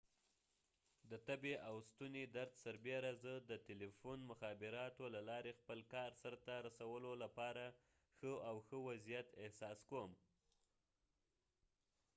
د تبې او ستوني درد سربیره زه د تلیفون مخابراتو له لارې خپل کار سرته رسولو لپاره ښه او ښه وضعیت احساس کوم